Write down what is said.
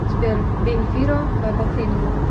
сбер бен фиро бабафинго